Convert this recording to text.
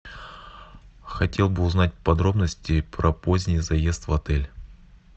хотел бы узнать подробности про поздний заезд в отель